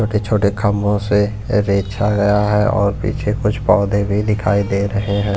छोटे-छोटे खंबों से रेछा गया है और पीछे कुछ पौधे भी दिखाई दे रहे हैं।